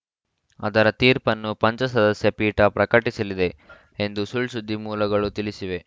ಅದರ ತೀರ್ಪನ್ನು ಪಂಚಸದಸ್ಯ ಪೀಠ ಪ್ರಕಟಿಸಲಿದೆ ಎಂದು ಸುಳ್‌ ಸುದ್ದಿ ಮೂಲಗಳು ತಿಳಿಸಿವೆ